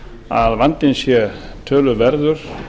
að vandinn sé töluverður